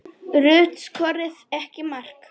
Rut skoraði ekki mark.